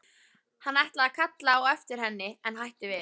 Hann ætlaði að kalla á eftir henni en hætti við.